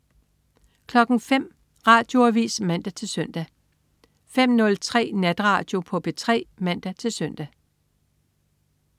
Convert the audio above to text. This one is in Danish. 05.00 Radioavis (man-søn) 05.03 Natradio på P3 (man-søn)